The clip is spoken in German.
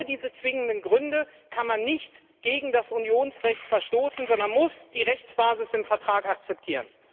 Ohne diese zwingenden Gründe kann man nicht gegen das Unionsrecht verstoßen, sondern muss die Rechtsbasis im Vertrag akzeptieren.